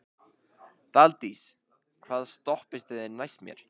Daldís, hvaða stoppistöð er næst mér?